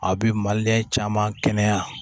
A bɛ malilen caman kɛnɛya